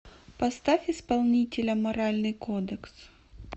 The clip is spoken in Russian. поставь исполнителя моральный кодекс